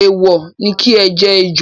Èèwò ni ki jẹ ejò.